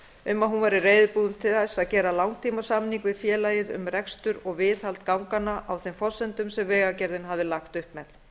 að hún væri reiðubúin til þess að gera langtímasamning við félagið um rekstur og viðhald ganganna á þeim forsendum sem vegagerðin hafði lagt upp með